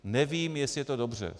Nevím, jestli je to dobře.